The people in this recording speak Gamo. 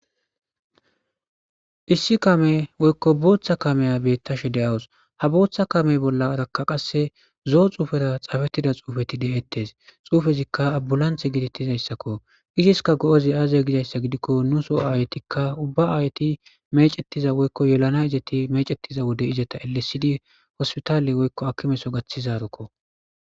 issi kaame woykko booththa kameya bettashe de7awus ha booththa kame bollarakka qasse zo'o xuufera xaafettida xuufeti de7ettes xuufezikka abbulanthe gidettizayssakko iziska go7ozi aazye gizayssa gidikko nuso aayetikka ubba aayeti mecettiza woykko yelana izeti mecettiza wode izeta elesidi hospitaale woykko akkimeso gaththizarukko.